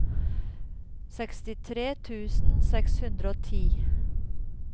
sekstitre tusen seks hundre og ti